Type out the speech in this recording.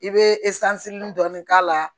I bɛ dɔɔnin k'a la